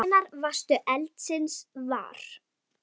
Hvenær varðstu eldsins var?